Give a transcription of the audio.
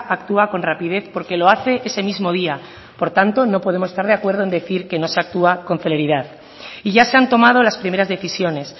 actúa con rapidez porque lo hace ese mismo día por tanto no podemos estar de acuerdo en decir que no se actúa con celeridad y ya se han tomado las primeras decisiones